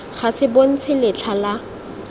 ga se bontshe letlha la